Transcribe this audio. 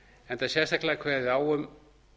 enda er sérstaklega kveðið á um